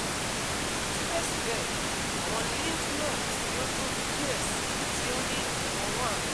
Sibẹsibẹ, awọn lymph nodes ti o tobi diẹ sii ti o ni iwọn one